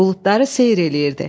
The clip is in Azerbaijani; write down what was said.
Buludları seyr eləyirdi.